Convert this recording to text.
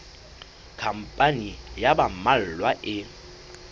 khampani ya ba mmalwa e